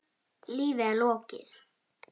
Lífi er lokið.